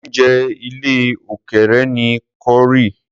oúnjẹ ilè òkèèrè ni corie.